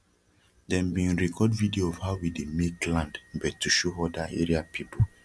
dem bin record video of how we dey make land bet to show oda area people